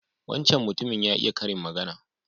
Wancan mutumin ya iya karin magana.